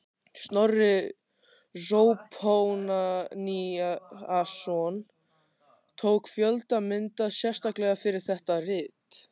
Snorri Zóphóníasson tók fjölda mynda sérstaklega fyrir þetta rit.